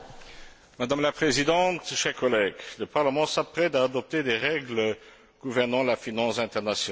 Madame la Présidente, chers collègues, le Parlement s'apprête à adopter des règles gouvernant la finance internationale.